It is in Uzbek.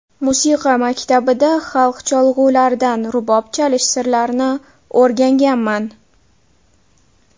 Musiqa maktabida xalq cholg‘ularidan rubob chalish sirlarini o‘rganganman.